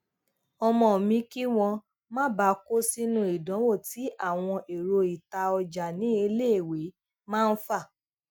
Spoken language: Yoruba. ọmọ mi kí wón má bàa kó sínú idanwo tí àwọn èrọ ita ọjà ní iléèwé máa ń fà